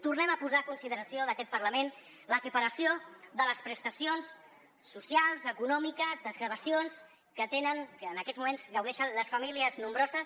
tornem a posar a consideració d’aquest parlament l’equiparació de les prestacions socials econòmiques desgravacions que tenen que en aquests moments gaudeixen les famílies nombroses